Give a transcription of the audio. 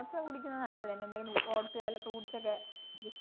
oats ഒക്കെ കുടിക്കുന്നത് നല്ലതെന്ന് എന്തെങ്കിലും oats വല്ല fruits ഒക്കെ